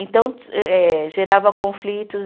Então, eh eh gerava conflitos.